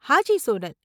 Haji, Sonal.